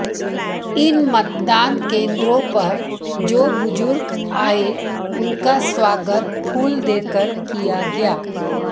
इन मतदान केंद्रों पर जो बुजुर्ग आए उनका स्वागत फूल देकर किया गया